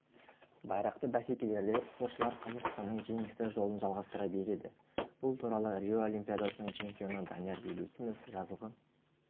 байрақты бәсекелерде спортшылар қазақстанның жеңісті жолын жалғастыра береді бұл туралы рио олимпиадасының чемпионы данияр елеусінов жазғы